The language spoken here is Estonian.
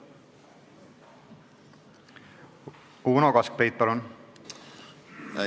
Uno Kaskpeit, palun!